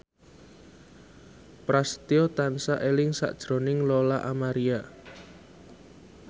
Prasetyo tansah eling sakjroning Lola Amaria